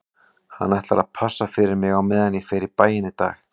Hann ætlar að passa fyrir mig á meðan ég fer í bæinn í dag